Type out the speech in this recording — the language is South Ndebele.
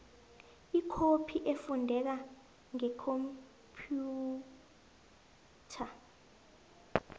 ikhophi efundeka ngekhomphiyutha